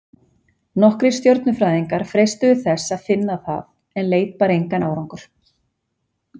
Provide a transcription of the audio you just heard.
Nokkrir stjörnufræðingar freistuðu þess að finna það, en leit bar engan árangur.